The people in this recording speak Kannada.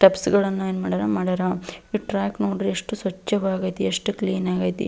ತೆಪ್ಸ್ ಗಳನ್ನ ಏನ್ ಮಾಡ್ಯಾರ ಮಾಡ್ಯಾರ ಈ ಟ್ರ್ಯಾಕ್ ನೋಡ್ರಿ ಎಷ್ಟು ಸ್ವಚ್ಛವಾಗೈತಿ ಎಷ್ಟು ಕ್ಲೀನ್ ಆಗೈತಿ.